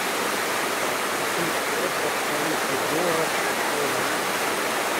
купить пять австралийских долларов стоимость